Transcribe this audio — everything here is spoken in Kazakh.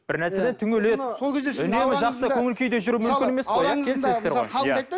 бірнәрседен түңіледі үнемі жақсы көңіл күйде жүру мүмкін емес қой иә келісесіздер ғой иә